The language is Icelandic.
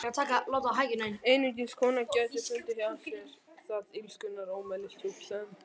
Einungis kona gæti fundið hjá sér það illskunnar ómælisdjúp sem